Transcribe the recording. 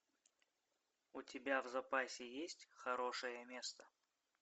у тебя в запасе есть хорошее место